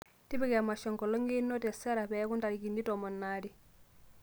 tipika emasho enkolong einoto e sarah peeku ntarikini tomon aare